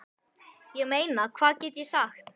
Ég meina hvað get ég sagt?